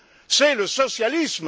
c'est le socialisme.